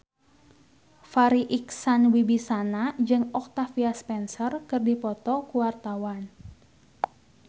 Farri Icksan Wibisana jeung Octavia Spencer keur dipoto ku wartawan